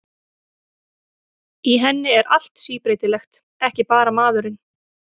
Í henni er allt síbreytilegt, ekki bara maðurinn.